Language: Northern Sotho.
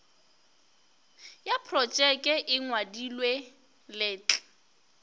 ya projeke e ngwadilwe letl